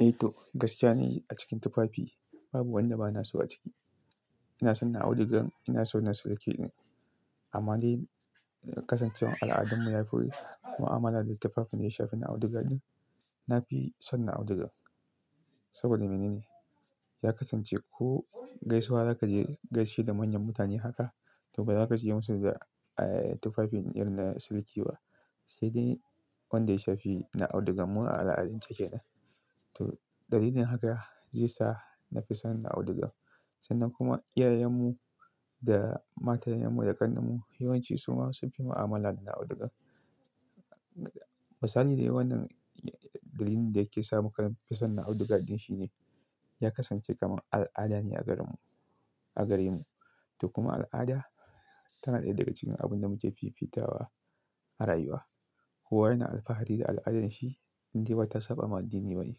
Eh to, gaskiya nayi a cikin tupapi babu wanda bana so a ciki. Ina son na audiga, ina son na silki din. Amma dai kasancewan al'adummu yafi mu'amala da tupapin mai shafi na audiga din, na fi son na audiga. Saboda mene ne? Ya kasance ko gaisuwa za ka je gaishe da manyan mutane haka, to ba za ka je musu da tupapi irin na silki ba. Sai dai wanda ya shafi na audiga mu a al'adance ke nan. To dalilin haka ze sa na fi son na audiga. Sannan kuma iyayen mu da matayen mu da ƙannan mu yawanci su ma sun pi mu'amala da na audiga. Misali dai wannan dalilin da yake sa muka pi son na audiga din shine, ya kasance kaman al'ada ne a garin mu, a gare mu. To kuma al'ada tana ɗaya daga cikin abun da muke pipita wa a rayuwa. Kowa yana alpahari da al'adarsa in dai ba ta saɓa ma addini ba ne.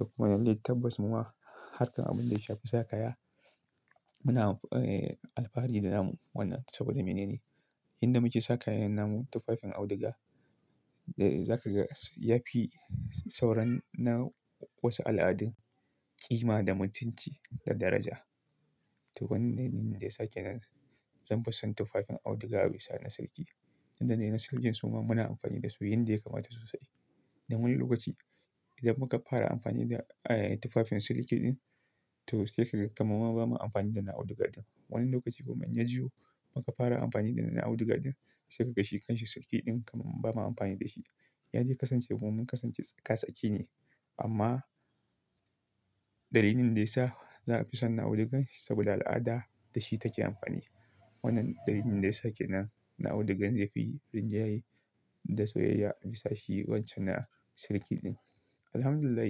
To kuma yanzu dai tabbas muma harkar abin da ya shafi sa kaya, muna alpahari da namu wannan saboda mene ne? Inda muke sa kayan namu tupafin audiga, za ka ga ya pi sauran na wasu al'adun ƙima da mutunci da daraja. To wannan ne daya sa kenan zanpi son tufafin audiga bisa na silki. Inda dai na silkin su ma muna ampani da su yanda ya kamata sosai. Dan wani lokaci idan muka para ampani da tufafin silkii din, to sai ka ga kaman ma bamu ampani da na audiga din. Wani lokaci kuma in yajiwo muka fara ampani da na audiga din, sai kaga shi kanshi silki din kaman bama ampani da shi. Ya dai kasance mun kasance tsakatsa ƙi ne. Amma dalilin da ya sa za a fi son na audigan saboda al'ada da shi take ampani. Wannan dalilin da yasa ke nan na audigan zai fi rinjaye da soyayya a bisa shi wancan na silki din. Alhamdulillah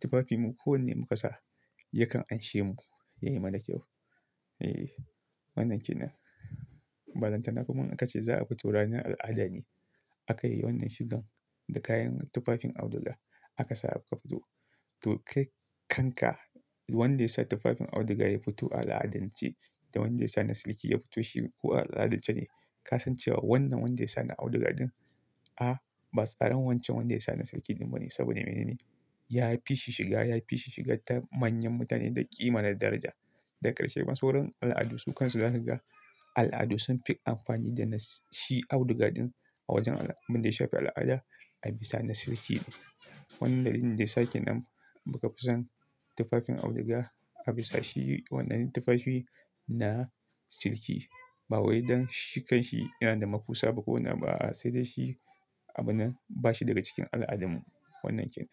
tufafinmu ko wanne mu ka sa yakan anshe mu. Yayi mana kyau. Eeh wannan kenan. Ba lantana kuma in aka ce za a fito ranar al'ada ne, aka yi wannan shigan da kayan tufafin auduga aka sa aka fito. To kai kanka wanda ya sa tufafin auduga ya fito a al'adance da wanda ya sa na silki ya fito shi ko a al'adance ne. Ka san cewa wannan wanda ya sa na audiga din, a ba tsaran wancan wanda ya sa na silki din bane saboda mene ne? Ya fi shi shiga, ya fi shi shiga ta manyan mutane da ƙima da daraja. Da ƙarshe ba sauran al'adu sukan su zakaga al'adu sun fi amfani da shi auduga din a wajen abin da ya shafi al'ada a bisa na silki ne. Wannan dalilin da yasa ke nan muka fi son tufafin auduga a bisa shi wannan tufafi na silki. Ba wai don shi kanshi yana da makusa ba ko wani abu ba a'a sai dai shi abunnan ba shi daga cikin al'adummu. Wannan kenan.